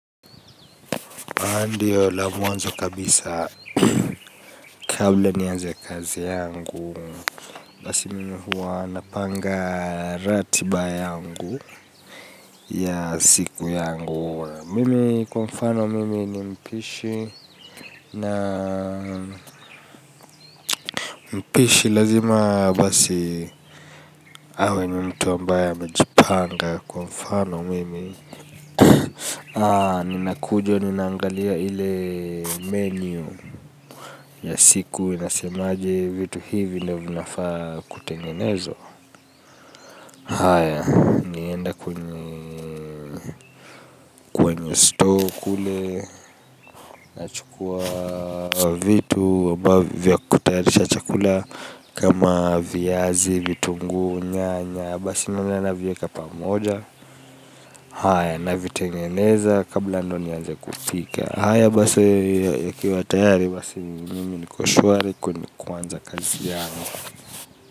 Kwa ndio la mwanzo kabisa, kabla nianze kazi yangu basi mimi huwa napanga ratiba yangu ya siku yangu mimi kwa mfano mimi ni mpishi na mpishi lazima basi awe ni mtu ambaye amejipanga kwa mfano mimi ninakuja, ninnangalia ile menu ya siku, inasemaje, vitu hivi ndio vinafaa kutengenezwa haya nilienda kwenye store kule nikachukua vitu ambavyo vya kutayarisha chakula kama viazi, vitunguu, nyanya basi navieka pamoja haya, navitengeneza kabla ndio nianze kupika haya, basi ikiwa tayari, basi mimi niko shwari kwanza kazi yangu.